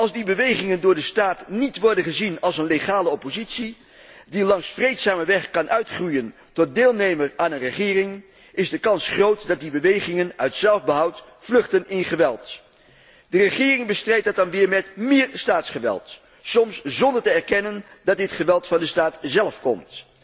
Als die bewegingen door de staat niet worden gezien als een legale oppositie die langs vreedzame weg kan uitgroeien tot deelnemer aan een regering, is de kans groot dat die bewegingen uit zelfbehoud vluchten in geweld. De regering bestrijdt dat dan weer met meer staatsgeweld, soms zonder te erkennen dat dit geweld van de staat zelf komt.